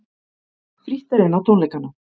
Frítt er inn á tónleikana